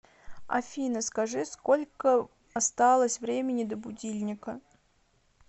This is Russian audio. афина скажи сколько осталось времени до будильника